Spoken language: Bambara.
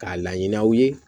K'a laɲini aw ye